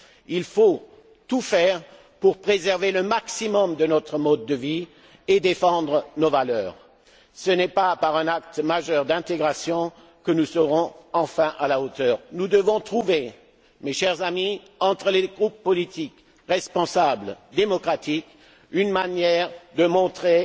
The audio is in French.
Il faut tout faire pour préserver au maximum notre mode de vie et défendre nos valeurs. Ce n'est pas par un acte majeur d'intégration que nous serons enfin à la hauteur. Nous devons trouver, mes chers amis, entre les groupes politiques démocratiques responsables une manière de montrer